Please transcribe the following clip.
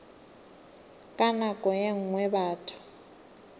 ka nako ye nngwe batho